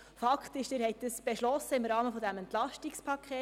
Fakt ist, Sie haben dies im Rahmen des EP 18 beschlossen.